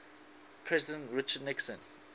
president richard nixon